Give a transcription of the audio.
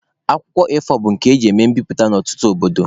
Akwụkwọ A4 bụ nke eji eme mbiputa na ọtụtụ obodo.